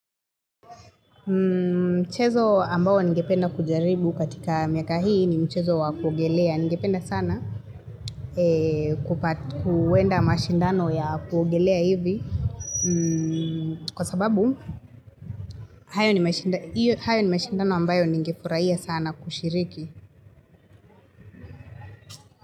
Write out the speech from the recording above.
Mchezo ambao ningependa kujaribu katika miaka hii ni mchezo wa kuogelea. Ningependa sana kuenda mashindano ya kuogelea hivi kwa sababu hayo ni mashindano ambayo ningefurahia sana kushiriki.